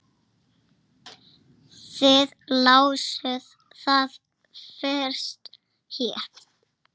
Þið lásuð það fyrst hér.